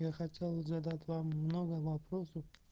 я хотел задать вам много вопросов